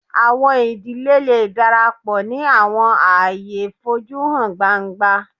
Awọn idile le darapọ ni awọn aaye foju han gbangba